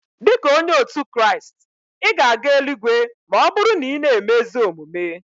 Dika onye otu Kraist, ị ga-aga eluigwe ma ọ bụrụ na ị na-eme ezi omume.